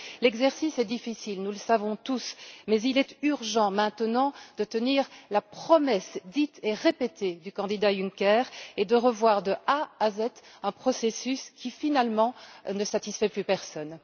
L'exercice est difficile, nous le savons tous, mais il est urgent maintenant de tenir la promesse dite et répétée du candidat Juncker, et de revoir de A à Z un processus qui, finalement, ne satisfait plus personne.